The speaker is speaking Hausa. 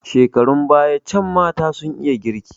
Shekarun baya can mata sun iya girki.